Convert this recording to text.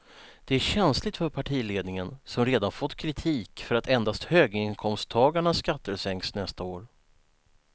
Det är känsligt för partiledningen som redan fått kritik för att endast höginkomsttagarnas skatter sänks nästa år.